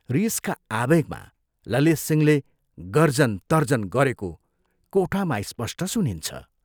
रीसका आवेगमा ललितसिंहले गर्जन तर्जन गरेको कोठामा स्पष्ट सुनिन्छ।